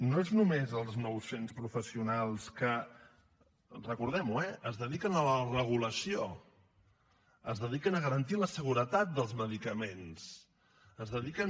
no són només els nou cents professionals que recordem ho eh es dediquen a la regulació es dediquen a garantir la seguretat dels medicaments es dediquen